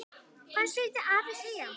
Hvað skyldi afi segja?